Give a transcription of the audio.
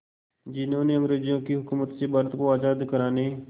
जिन्होंने अंग्रेज़ों की हुकूमत से भारत को आज़ाद कराने